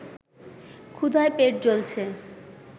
ক্ষুধায় পেট জ্বলছে